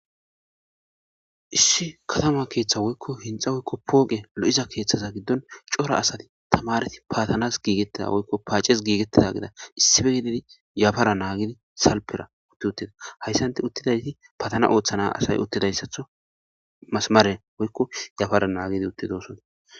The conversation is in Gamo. Issi katama keeththa woykko hinxxa woykko pooqe lo7iza keeththaza giddon cora asati tamareti paatanas giigettida woykko paaces giigettida gida issife gididi yafara naagidi salpera utti uttida. Hayssanti uttidayti patana ooththana asay uttidayssatho masmare woykko yafara naagidi utti doosona.